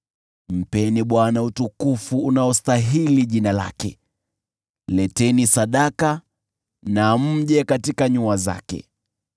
Mpeni Bwana utukufu unaostahili jina lake; leteni sadaka na mje katika nyua zake.